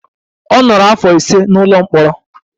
Ọ nọrọ afọ ise n'ụlọ mkpọrọ.